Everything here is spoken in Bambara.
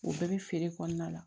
O bɛɛ bɛ feere kɔnɔna la